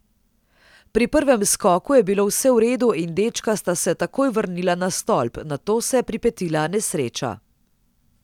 Pri prvem skoku je bilo vse v redu in dečka sta se takoj vrnila na stolp, nato se je pripetila nesreča.